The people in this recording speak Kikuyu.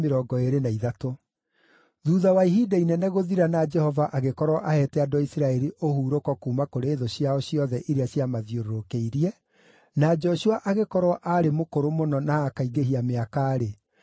Thuutha wa ihinda inene gũthira na Jehova agĩkorwo aheete andũ a Isiraeli ũhurũko kuuma kũrĩ thũ ciao ciothe iria ciamathiũrũrũkĩirie, na Joshua agĩkorwo aarĩ mũkũrũ mũno na akaingĩhia mĩaka-rĩ,